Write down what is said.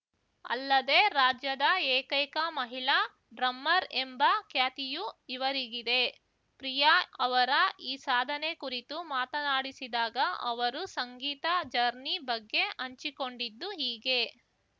ಅಲ್ಲದೆ ರಾಜ್ಯದ ಏಕೈಕ ಮಹಿಳಾ ಡ್ರಮ್ಮರ್ ಎಂಬ ಖ್ಯಾತಿಯೂ ಇವರಿಗಿದೆ ಪ್ರಿಯಾ ಅವರ ಈ ಸಾಧನೆ ಕುರಿತು ಮಾತನಾಡಿಸಿದಾಗ ಅವರು ಸಂಗೀತ ಜರ್ನಿ ಬಗ್ಗೆ ಹಂಚಿಕೊಂಡಿದ್ದು ಹೀಗೆ